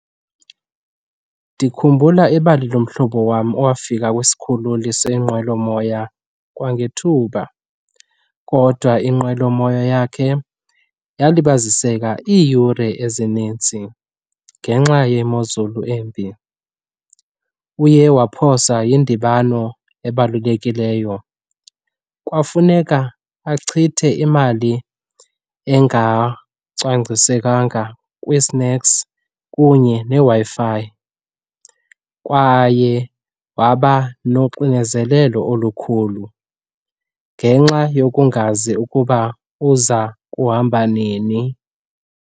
Ndikhumbula ibali lo mhlobo wam owafika kwisikhululo senqwelomoya kwangethuba kodwa inqwelomoya yakhe yalibaziseka iiyure ezininzi ngenxa yemozulu embi. Uye waphoswa yindibano ebalulekileyo, kwafuneka achithe imali engacwangcisekanga kwi-snacks kunye neWi-Fi kwaye waba noxinezelelo olukhulu ngenxa yokungazi ukuba uza kuhamba nini.